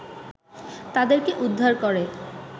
তাদেরকে উদ্ধার করে